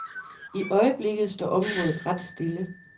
I øjeblikket står området ret stille.